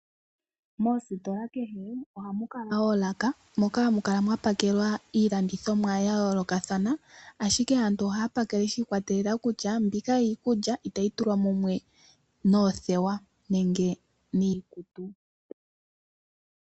Moositola kehe ohamu kala oolaka, moka hamu kala mwa pakelwa iilandithomwa ya yoolokathana, ashike aantu ohaya pakele shi ikwatelela kutya, mbika iikulya itayi tulwa mumwe noothewa, nenge niikutu.